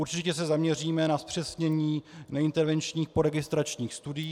Určitě se zaměříme na zpřesnění neintervenčních poregistračních studií.